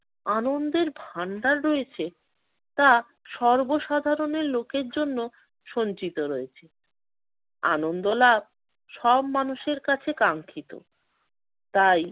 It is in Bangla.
আনন্দের ভান্ডার রয়েছে তা সর্বসাধারণের লোকের জন্য সঞ্চিত রয়েছে। আনন্দ লাভ সব মানুষের কাছে কাঙ্ক্ষিত। তাই